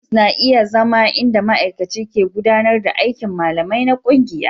Ofis na iya zama inda ma'aikaci ke gudanar da aikin malamai na ƙungiya.